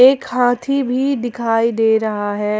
एक हाथी भी दिखाई दे रहा है ।